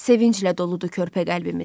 Sevincdən doludur körpə qəlbimiz.